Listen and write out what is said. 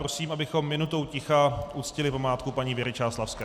Prosím, abychom minutou ticha uctili památku paní Věry Čáslavské.